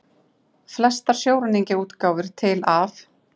Flestar sjóræningjaútgáfur til af